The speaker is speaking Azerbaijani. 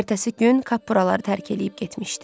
Ertəsi gün Kappuraları tərk edib getmişdi.